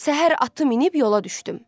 Səhər atı minib yola düşdüm.